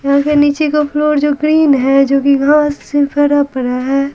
निचे का फ्लोर जो ग्रीन है जो कि घास से फरा पड़ा है।